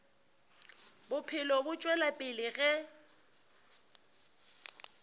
bophelo bo tšwela pele ge